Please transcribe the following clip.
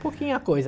pouquinha coisa.